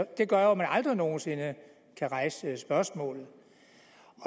det gør jo at man aldrig nogen sinde kan rejse spørgsmålet